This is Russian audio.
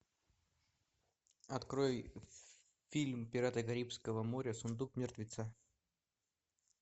открой фильм пираты карибского моря сундук мертвеца